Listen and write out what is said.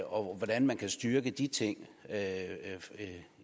og hvordan man kan styrke de ting